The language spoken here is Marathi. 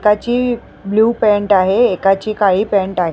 त्याची ब्ल्यू पॅन्ट आहे एकाची काळी पॅन्ट आहे.